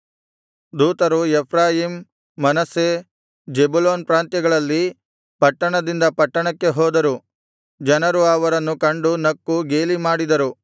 ದೂತರು Ephraim Manasseh Zebulun ಪ್ರಾಂತ್ಯಗಳಲ್ಲಿ ಪಟ್ಟಣದಿಂದ ಪಟ್ಟಣಕ್ಕೆ ಹೋದರು ಜನರು ಅವರನ್ನು ಕಂಡು ನಕ್ಕು ಗೇಲಿಮಾಡಿದರು